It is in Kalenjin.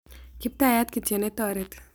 Kiptayat kityo ne toreti.